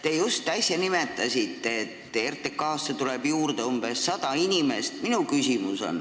Te just äsja nimetasite, et RTK-sse tuleb juurde umbes sada inimest, aga mul on küsimus.